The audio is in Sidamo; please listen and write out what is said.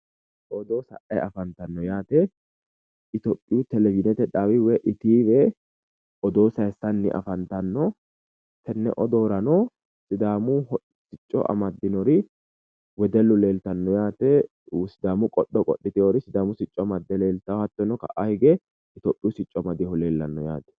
Odoo sa'ayi afantanno yaate. Ithiopiyu televizhiinete dhaawi wiy etve odoo sayissanni afantanno tenne odoorano sidaamu hocco amaddinori wedellu leeltanno yaate sidaamu qodho qodhitewori ka'aa hige sidaamu sicco amadde leeltanno yaate hattono sidaamu sicco amadinohu leellanno yaate.